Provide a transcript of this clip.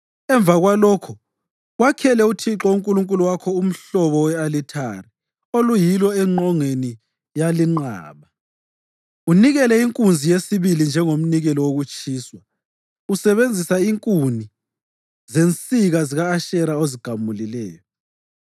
Emva kwalokho wakhele uThixo uNkulunkulu wakho umhlobo we-alithari oluyilo engqongeni yalinqaba. Unikele inkunzi yesibili njengomnikelo wokutshiswa usebenzisa inkuni zensika zika-Ashera ozigamuleyo.”